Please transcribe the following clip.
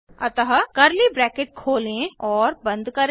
अतः curly bracket खोलें और बंद करें